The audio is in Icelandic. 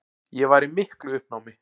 Ég var í miklu uppnámi.